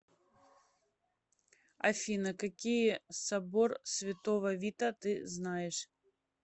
афина какие собор святого вита ты знаешь